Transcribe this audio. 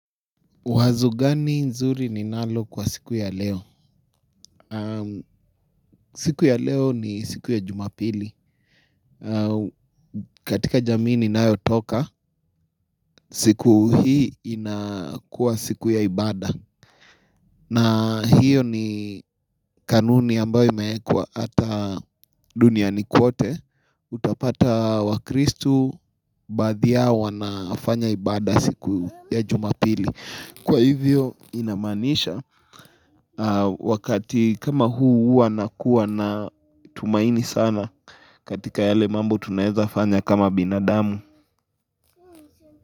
Wazo gani nzuri ninalo kwa siku ya leo? Siku ya leo ni siku ya jumapili. Katika jamii ninayo toka, siku hii inakuwa siku ya ibada. Na hiyo ni kanuni ambayo imeekwa hata duniani kote Utapata wakristu baadhi yao wanafanya ibada siku ya jumapili. Kwa hivyo inamaanisha wakati kama huu huwa nakuwa na tumaini sana katika yale mambo tunaweza fanya kama binadamu.